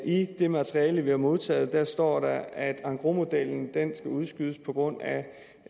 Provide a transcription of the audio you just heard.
i det materiale vi har modtaget står der at engrosmodellen skal udskydes på grund af